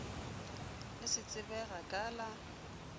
le se tsebega ka la